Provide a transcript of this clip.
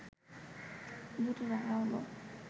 দু’টি রাখা হলো